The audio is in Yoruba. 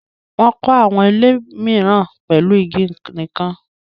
Wọ́n kọ́ àwọn ilé mìíràn pẹ̀lú igi nìkan.